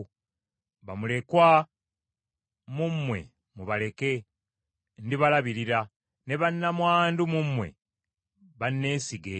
Bamulekwa mu mmwe mubaleke, ndibalabirira. Ne bannamwandu mu mmwe banneesige.”